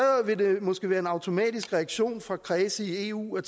vil det måske være en automatisk reaktion fra kredse i eu at